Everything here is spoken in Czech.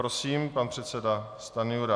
Prosím, pan předseda Stanjura.